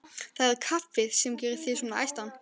Það er kaffið sem gerir þig svona æstan.